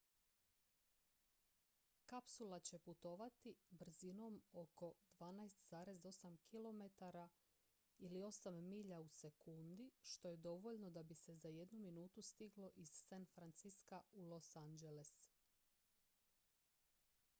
kapsula će putovati brzinom od oko 12,8 km ili 8 milja u sekundi što je dovoljno da bi se za jednu minutu stiglo iz san francisca u los angeles